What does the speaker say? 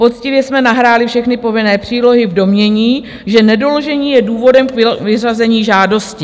Poctivě jsme nahráli všechny povinné přílohy v domnění, že nedoložení je důvodem k vyřazení žádosti."